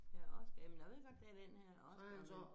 Ja Oscar jamen jeg ved godt det den her Oscar men